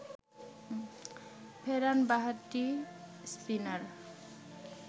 ফেরান বাঁহাতি স্পিনার